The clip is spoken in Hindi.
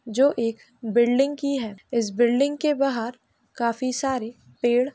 जो एक बिल्डिंग की है। इस बिल्डिंग के बाहर काफी सारे पेड़ --